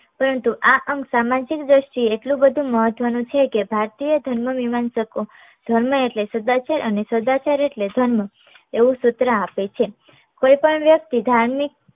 પરંતુ આ અંગ સામાજિક દ્રષ્ટિ એ એટલું બધું મહત્વનું છે કે ભારતીય ધર્મ વિહાન શકો ધર્મ એટલે સદાચાર અને સદાચાર એટલે ધર્મ એવું સૂત્ર આપે છે કોઈ પણ વ્યક્તિ ધાર્મિક